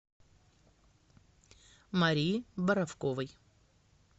марии боровковой